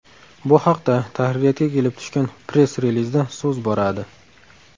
Bu haqda tahririyatga kelib tushgan press-relizda so‘z boradi.